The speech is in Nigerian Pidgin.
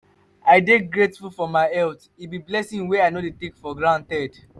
i dey grateful for my health; e be blessing wey i no take for granted.